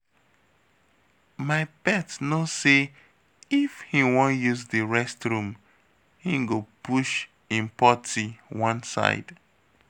My pet know say if he wan use the rest room he go push im pottie one side